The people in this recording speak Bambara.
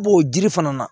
I b'o jiri fana na